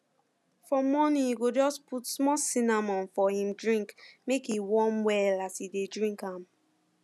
for morning e go just put small cinnamon for him drink make e warm well as e dey drink am